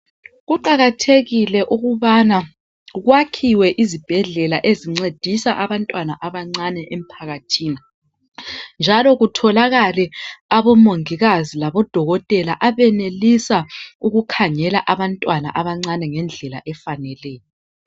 Kuqakathekile ukubana kwakhiwe izibhedlela ezincedisa abantwana abancane emphakathini njalo kutholakale abomongikazi labodokotela abenelisa ukukhangela abantwana abancane ngendlela efaneleyo.